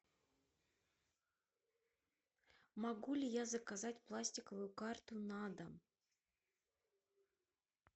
могу ли я заказать пластиковую карту на дом